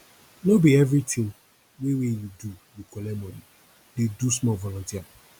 no be everytin wey wey you do you collect moni dey do small volunteer